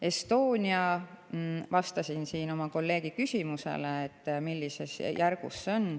Estonia kohta ma vastasin siin kolleegi küsimusele, millises järgus see on.